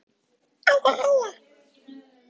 VILHJÁLMUR: Þetta hef ég alltaf sagt: Allir